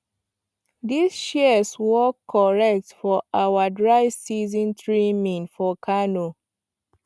this shears work correct for our dry season trimming for kano